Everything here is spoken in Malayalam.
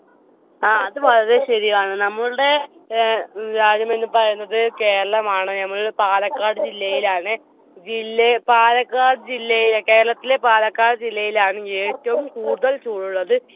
ആ അത് വളരെ ശെരിയാണ്. നമ്മുളുടെ ഭാഗമെന്ന് പറയുന്നത് കേരളമാണ് ഞമ്മള് പാലക്കാട് ജില്ലയിലാണ്. ജില്ല പാലക്കാട് ജില്ലയിലെ കേരളത്തിലെ പാലക്കാട് ജില്ലയിലാണ് ഏറ്റവും കൂടുതൽ ചൂടുള്ളത്.